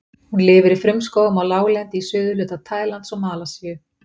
Hún lifir í frumskógum á láglendi í suðurhluta Tælands og Malasíu.